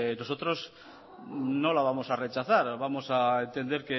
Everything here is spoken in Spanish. nosotros no la vamos a rechazar vamos a entender